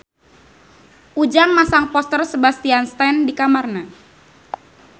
Ujang masang poster Sebastian Stan di kamarna